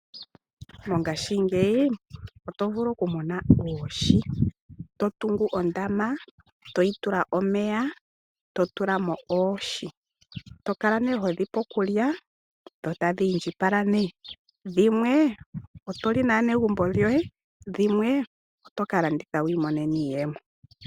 Mongashingeyi oto vulu okumona oohi. To tungu ondama, to yi tula omeya, to tula mo oohi. To kala nduno ho dhi pe okulya dho tadhi indjipala nduno. Dhimwe oto li naanegumbo lyoye, dhimwe oto ka landitha wi imonene iiyemo.